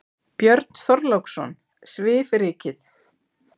Björn Þorláksson: Svifrykið?